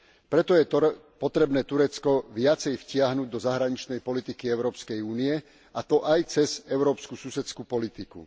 Preto je potrebné Turecko viacej vtiahnuť do zahraničnej politiky Európskej únie, a to aj cez európsku susedskú politiku.